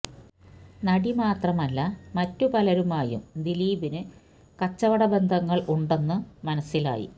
നടി മാത്രമല്ല മറ്റു പലരുമായും ദിലീപിനു കച്ചവട ബന്ധങ്ങൾ ഉണ്ടെന്നും മനസ്സിലായി